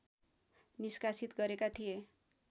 निष्कासित गरेका थिए